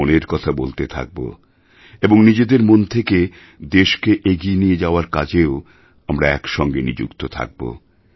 মনের কথা বলতে থাকব এবং নিজেদের মন থেকে দেশকে এগিয়ে নিয়ে যাওয়ার কাজেও আমরা একসঙ্গে নিযুক্ত থাকব